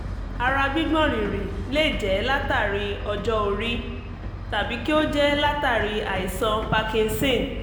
ara gbígbọ̀n rìrì lè jẹ́ látàri ọjọ́-orí tàbí kí ó jẹ́ látàri àìsàn parkinson